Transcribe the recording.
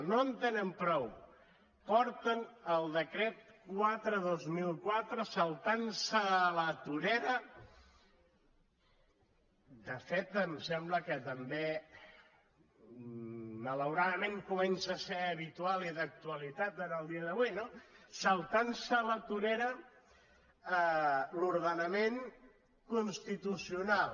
no en tenen prou porten el decret quatre dos mil quatre saltant se a la torera de fet em sembla que també malauradament comença a ser habitual i d’actualitat en el dia d’avui l’ordenament constitucional